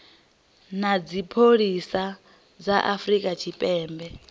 na dzipholisi dza afrika tshipembe